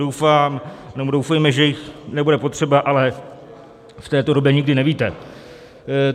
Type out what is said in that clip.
Doufejme, že jich nebude potřeba, ale v této době nikdy nevíte.